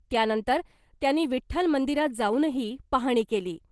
त्यानंतर त्यांनी विठ्ठल मंदिरात जाऊनही पाहणी केली .